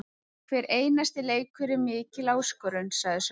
Hver einasti leikur er mikil áskorun, sagði Sölvi.